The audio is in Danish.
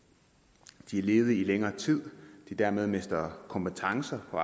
de er ledige i længere tid og dermed mister kompetencer og